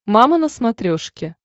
мама на смотрешке